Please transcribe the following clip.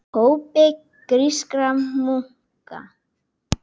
hópi grískra munka.